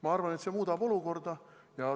Ma arvan, et see muudab olukorda.